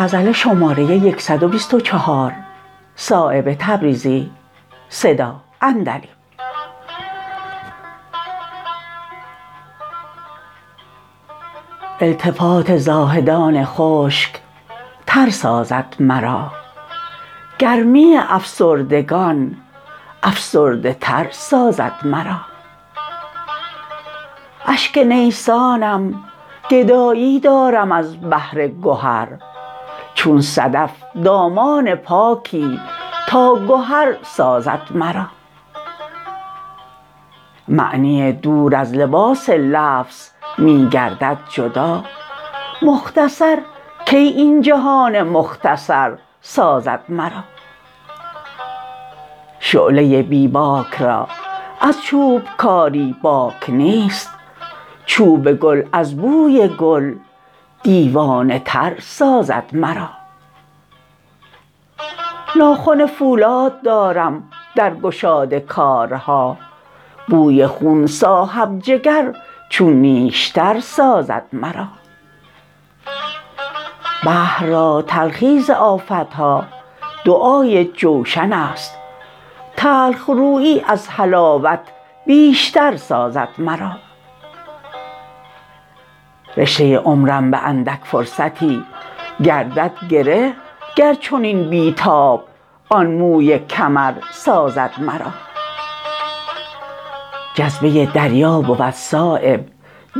التفات زاهدان خشک تر سازد مرا گرمی افسردگان افسرده تر سازد مرا اشک نیسانم گدایی دارم از بحر گهر چون صدف دامان پاکی تا گهر سازد مرا معنی دور از لباس لفظ می گردد جدا مختصر کی این جهان مختصر سازد مرا شعله بی باک را از چوبکاری باک نیست چوب گل از بوی گل دیوانه تر سازد مرا ناخن فولاد دارم در گشاد کارها بوی خون صاحب جگر چون نیشتر سازد مرا بحر را تلخی ز آفت ها دعای جوشن است تلخرویی از حلاوت بیشتر سازد مرا رشته عمرم به اندک فرصتی گردد گره گر چنین بی تاب آن موی کمر سازد مرا جذبه دریا بود صایب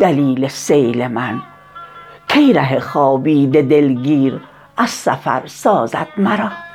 دلیل سیل من کی ره خوابیده دلگیر از سفر سازد مرا